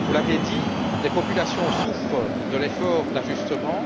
Vous l'avez dit, les populations souffrent de l'effort d'ajustement.